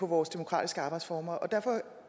vores demokratiske arbejdsformer derfor